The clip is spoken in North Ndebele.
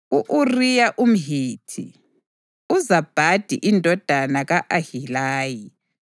u-Uriya umHithi, uZabhadi indodana ka-Ahilayi,